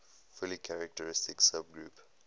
fully characteristic subgroup